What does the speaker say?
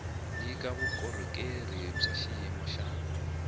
nyika vukorhokeri bya xiyimo xa